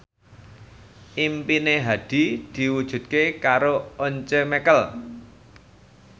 impine Hadi diwujudke karo Once Mekel